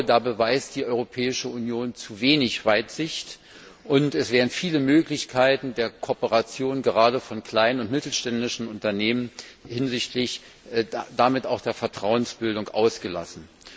Da beweist die Europäische Union zu wenig Weitsicht, und es werden viele Möglichkeiten der Kooperation gerade von kleinen und mittelständischen Unternehmen und damit auch der Vertrauensbildung ausgelassen.